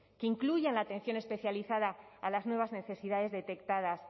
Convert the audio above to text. que incluyan la atención especializada a las nuevas necesidades detectadas